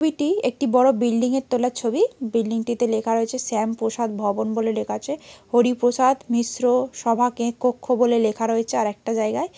ছবিটি একটি বড় বিল্ডিং য়ের তোলা ছবি বিল্ডিং টিতে লেখা রয়েছে শ্যাম প্রসাদ ভবন বলে লেখা আছে হরিপ্রসাদ মিশ্র সভাকে কক্ষ বলে লেখা রয়েছে আর একটা জায়গায়।